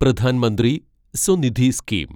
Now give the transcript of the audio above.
Pradhan Mantri Svanidhi scheme